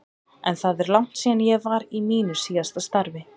En það er langt síðan ég var í mínu síðasta starfi.